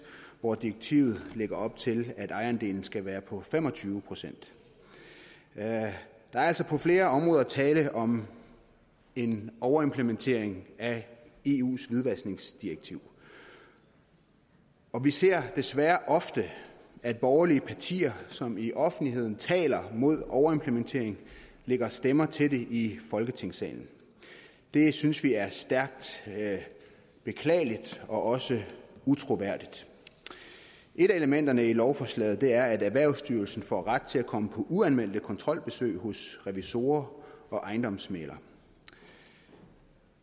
hvor direktivet lægger op til at ejerandelen skal være på fem og tyve procent der er altså på flere områder tale om en overimplementering af eus hvidvaskningsdirektiv og vi ser desværre ofte at borgerlige partier som i offentligheden taler mod overimplementering lægger stemmer til det her i folketingssalen det synes vi er stærkt beklageligt og også utroværdigt et af elementerne i lovforslaget er at erhvervsstyrelsen får ret til at komme på uanmeldte kontrolbesøg hos revisorer og ejendomsmæglere